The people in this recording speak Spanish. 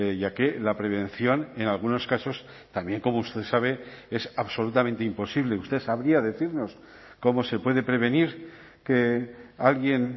ya que la prevención en algunos casos también como usted sabe es absolutamente imposible usted sabría decirnos cómo se puede prevenir que alguien